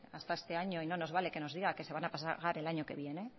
hasta este año y no nos vale que nos diga que se van a pagar el año que viene